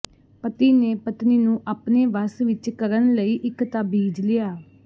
ਪਤੀ ਨੇ ਪਤਨੀ ਨੂੰ ਆਪਣੇ ਵਸ ਵਿੱਚ ਕਰਣ ਲਈ ਇੱਕ ਤਾਬੀਜ ਲਿਆ